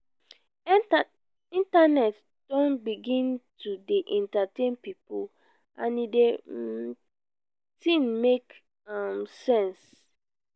internet don begin to dey entertain pipo and di um tin make um sense.